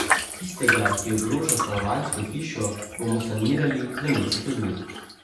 Tistega, ki ogroža stanovanjsko hišo, bomo sanirali v mesecu dni.